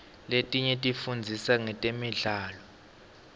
letinye tifundzisa ngetemidlao